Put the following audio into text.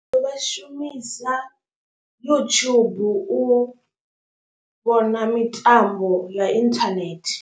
Vha shumisa YouTube u vhona mitambo ya internet.